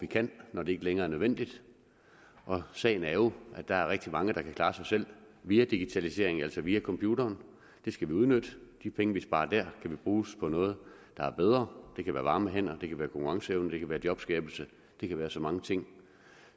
kan når det ikke længere er nødvendigt sagen er jo at der er rigtig mange der kan klare sig selv via digitalisering altså via computeren det skal vi udnytte de penge vi sparer der kan bruges på noget der er bedre det kan være varme hænder det kan være konkurrenceevne det kan være jobskabelse det kan være så mange ting